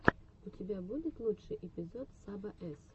у тебя будет лучший эпизод саба эс